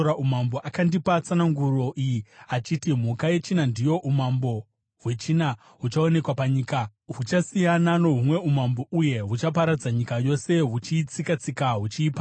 “Akandipa tsananguro iyi achiti, ‘Mhuka yechina ndiyo umambo hwechina huchaonekwa panyika. Huchasiyana nohumwe umambo uye huchaparadza nyika yose, huchiitsika-tsika huchiiparadza.